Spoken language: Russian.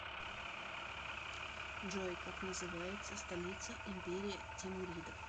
джой как называется столица империя тимуридов